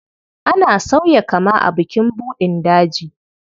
Ana sauya kama a bukin buɗin daji.